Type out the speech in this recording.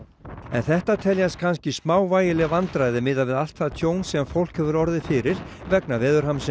en þetta teljast kannski smávægileg vandræði miðað við allt það tjón sem fólk hefur orðið fyrir vegna